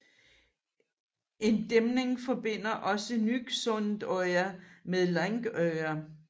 En dæmning forbinder også Nyksundøya med Langøya